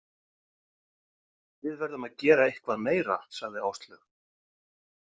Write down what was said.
Við verðum að gera eitthvað meira, sagði Áslaug.